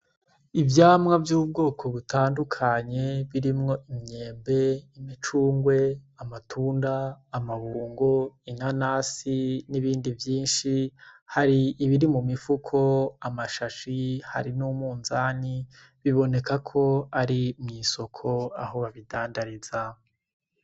Ivyamwa vy'ubwoko butandukanye birimwo imyembe, imicungwe, amatunda, amabungo, inanasi n'ibindi vyishi hari ibiri mu mifuko, amashashi hari n'umunzani biboneka ko ari mu isoko aho babi dandariza